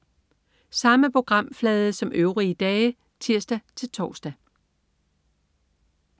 Samme programflade som øvrige dage (tirs-tors)